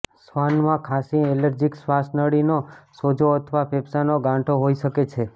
શ્વાન માં ખાંસી એલર્જીક શ્વાસનળીનો સોજો અથવા ફેફસાના ગાંઠો હોઈ શકે છે